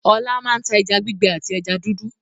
Ọlá máa ń ta ẹja gbígbẹ àti ẹja dúdú.